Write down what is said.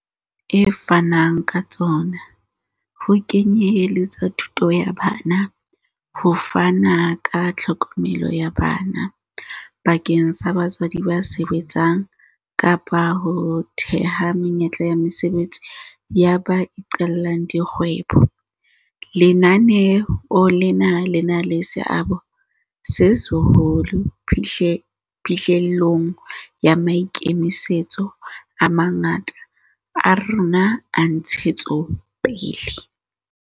e fanang ka tsona, ho kenye letsa thuto ya bana, ho fana ka tlhokomelo ya bana bakeng sa batswadi ba sebetsang kapa ho theha menyetla ya mosebetsi ya ba iqallang di kgwebo, lenaneo lena le na le seabo se seholo phihlellong ya maikemisetso a mangata a rona a ntshetsopele.